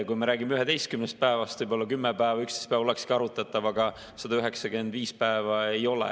Kui me räägime 11 päevast, võib-olla 10 päeva, 11 päeva olekski arutatav, aga 195 päeva ei ole.